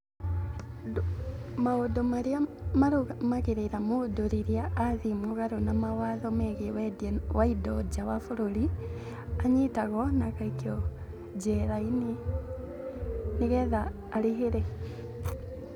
Maũndũ marĩa marũmagĩrĩra mũndũ rĩrĩa athiĩ mũgarũ na mawatho megiĩ wendia wa indo nja wa bũrũri: anyitagwo na agaikio njera-inĩ ni getha arĩhĩre.